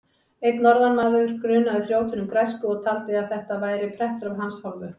Einn norðanmaður grunaði þrjótinn um græsku og taldi að þetta væri prettur af hans hálfu.